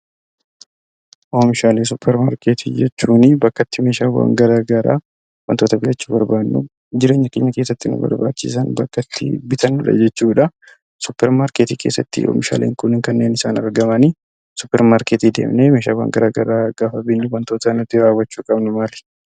Oomishaalee suupparmaarkeetii jechuun meeshaalee garaagaraa wantoota argachuu barbaannu jireenya keenya keessatti nu barbaachisan kan bitannudha jechuudha. Suupparmaarkeetii keessatti oomishaaleen kun kan isaan argaman. Meeshaawwan garaagaraa gaafa binnu wantoonni raawwachuu qabnu maali?